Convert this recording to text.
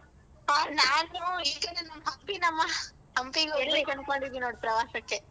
ಹ ನಾನು ಈಗ ನಾನ್ ಹಂಪಿ ನಮ್ಮ ಪ್ರವಾಸಕ್ಕೆ.